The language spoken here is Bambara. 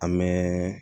An mɛ